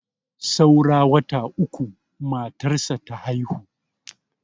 saura wata uku matarsa ta haihu